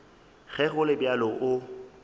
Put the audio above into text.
ge go le bjalo o